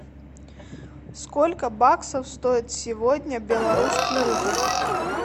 сколько баксов стоит сегодня белорусский рубль